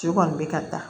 Cɛ kɔni bɛ ka taa